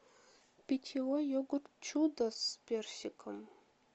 питьевой йогурт чудо с персиком